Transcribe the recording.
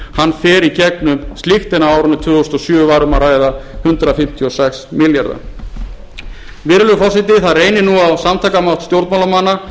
fer í gegnum slíkt en á árinu tvö þúsund og sjö var um að ræða hundrað fimmtíu og sex milljarða virðulegur forseti það reynir nú á samtakamátt stjórnmálamanna